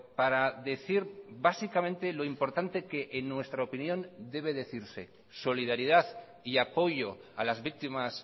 para decir básicamente lo importante que en nuestra opinión debe decirse solidaridad y apoyo a las víctimas